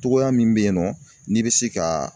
Cogoya min bɛ yen nɔ n'i bɛ se ka.